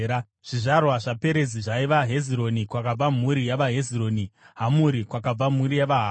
Zvizvarwa zvaPerezi zvaiva: Hezironi, kwakabva mhuri yavaHezironi; Hamuri, kwakabva mhuri yavaHamuri.